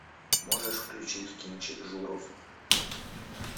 можешь включить кинчик журов